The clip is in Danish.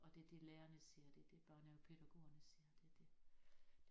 Og det det lærerne ser det det børnehavepædagogerne ser det det